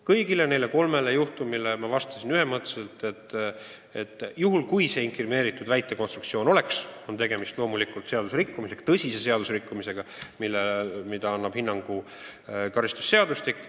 Kõigile neile kolmele väitele ma vastasin ühemõtteliselt, et kui see inkrimineeritud olukord oleks tõesti olemas, siis oleks loomulikult tegemist tõsise seadusrikkumisega, millele peaks hinnangu andma karistusseadustik.